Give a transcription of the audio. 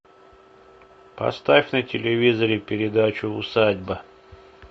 поставь на телевизоре передачу усадьба